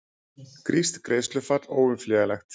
Grískt greiðslufall óumflýjanlegt